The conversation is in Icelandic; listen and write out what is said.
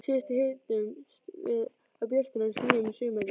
Síðast hittumst við á björtum og hlýjum sumardegi.